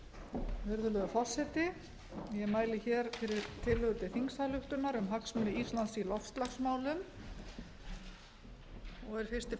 virðulegur forseti ég mæli hér fyrir tillögu til þingsályktunar um hagsmuni íslands í loftslagsmálum og er fyrsti